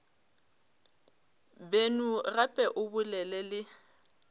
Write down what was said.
beno gape o bolele le